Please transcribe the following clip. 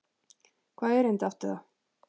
Hvaða erindi átti það?